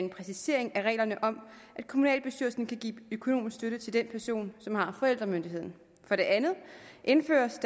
en præcisering af reglerne om at kommunalbestyrelsen kan give økonomisk støtte til den person som har forældremyndigheden for det andet indføres